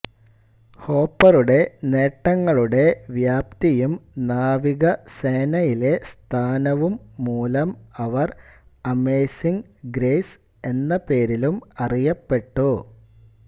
ഹോപ്പറുടെ നേട്ടങ്ങളുടെ വ്യാപ്തിയും നാവികസേനയിലെ സ്ഥാനവും മൂലം അവർ അമേസിങ്ങ് ഗ്രേസ് എന്ന പേരിലും അറിയപ്പെട്ടു